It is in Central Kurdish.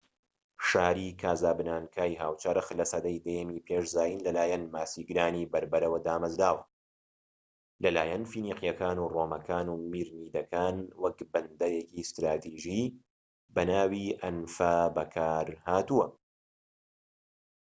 شاری کاسابلانکای هاوچەرخ لە سەدەی دەیەمی پێش زایندا لەلایەن ماسیگرانی بەربەرەوە دامەزراوە و لەلایەن فینیقیەکان و ڕۆمەکان و میرنیدەکان وەک بەندەرێکی ستراتیژی بەناوی ئەنفا بەکار هاتووە